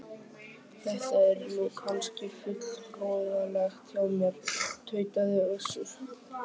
Þetta er nú kannski full hroðalegt hjá mér, tautaði Össur